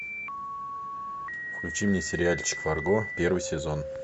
включи мне сериальчик фарго первый сезон